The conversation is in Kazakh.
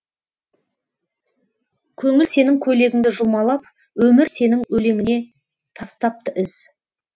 көңіл сенің көйлегіңді жұлмалап өмір сенің өлеңіңе тастапты із